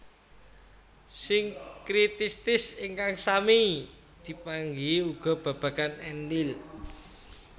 Sinkritistis ingkang sami dipanggihi uga babagan Enlil